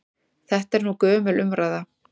Þetta er nú gömul umræða.